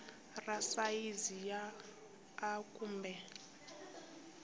ra sayizi ya a kumbe